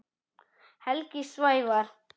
Helgi Sævar.